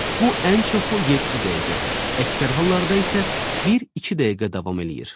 Bu ən çoxu yeddi dəqiqə, əksər hallarda isə bir-iki dəqiqə davam eləyir.